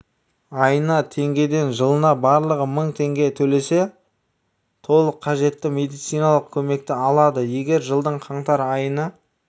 айына теңгеден жылына барлығы мың теңге төлесе толық қажетті медициналық көмекті алады егер жылдың қаңтар айына